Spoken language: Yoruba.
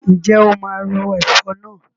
Ǹjẹ́ o máa ro ẹ̀fọ̀ náà?